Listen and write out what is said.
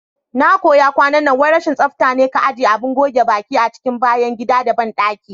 Na kuya kwanan nan wai rashin tsaftane ka ajiye Abin goge baƙi a cikin bayan gida da banɗaki.